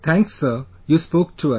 Thanks Sir, you spoke to us